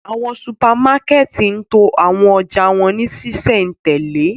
Awọn supamakẹti ń to awọn ọja wọn ni ṣiṣẹntẹle